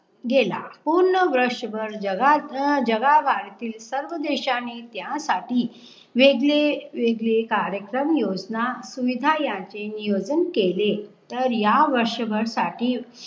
गेला. पूर्ण वर्षभर जगा जगभरातील सर्व देशाने त्यासाठी वेगळे वेगळे कार्यक्रम योजना सुवीधा याचे नियोजन केले. तर या वर्षभर साठी